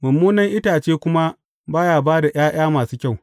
Mummunan itace kuma ba ya ba da ’ya’ya masu kyau.